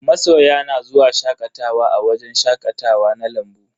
Masoya na zuwa shakatawa a wajen shakatawa na lambu.